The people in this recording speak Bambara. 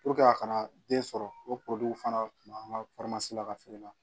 a kana den sɔrɔ o fana tun b'an ka la ka feere la